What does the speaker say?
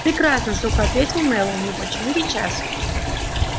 прекрасно сухо ответил мэллоу но почему сейчас